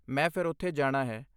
ਮੈਂ ਫਿਰ ਉੱਥੇ ਜਾਣਾ ਹੈ।